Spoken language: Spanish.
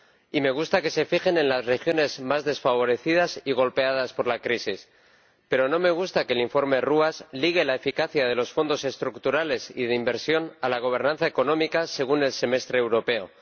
Y me gusta que se fijen en las regiones más desfavorecidas y golpeadas por la crisis, pero no me gusta que el informe Ruas ligue la eficacia de los Fondos Estructurales y de Inversión a la gobernanza económica, según el Semestre Europeo.